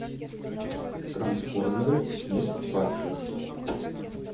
трансформеры месть падших